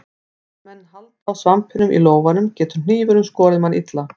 Ef menn halda á svampinum í lófanum getur hnífurinn skorið mann illa.